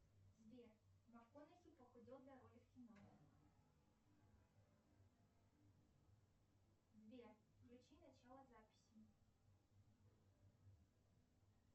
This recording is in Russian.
сбер макконахи похудел для роли в кино сбер включи начало записи